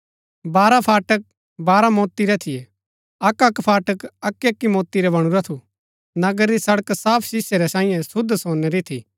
बारह फाटक बारह मोति रै थियै अक्क अक्क फाटक अक्की अक्की मोति रा बणुरा थू नगरा री सड़क साफ शीसै रै सांईये शुद्ध सोनै री थी